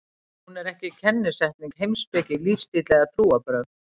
Hún er ekki kennisetning, heimspeki, lífstíll eða trúarbrögð.